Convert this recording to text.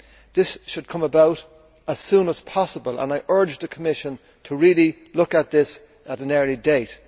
This should come about as soon as possible and I urge the Commission to really look at this at an early date.